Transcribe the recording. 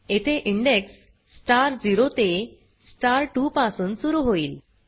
येथे index star 0 ते star 2 पासून सुरू होईल